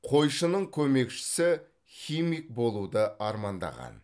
қойшының көмекшісі химик болуды армандаған